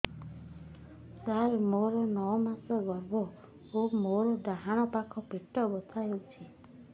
ସାର ମୋର ନଅ ମାସ ଗର୍ଭ ମୋର ଡାହାଣ ପାଖ ପେଟ ବଥା ହେଉଛି